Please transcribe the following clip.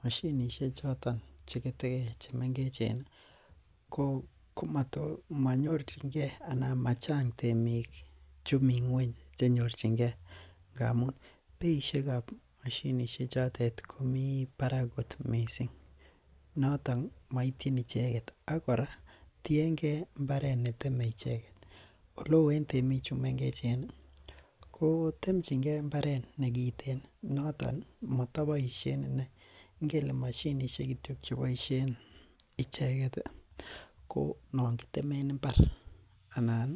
Mashinisiek choton chegetekei chemengechen ko komonyorchingen anan machang' temik chumi nyweny chenyorchingen ngamun beisiek ab mashinisiek chotet komi barak kot missing noton moityin icheget ak kora tiengen mbaret neteme icheget, oleo en temichumengechen ii ko temchingen mbaret negiten noton motoboisien inei, ngele mashinisiek kityo cheboisien icheget ii ko nongitemen mbar anan